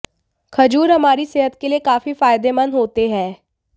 खजूर हमारी सेहत के लिए काफी फायदेमंद होते है